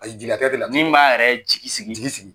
A min b'a yɛrɛ jigi sigi jigi sigi.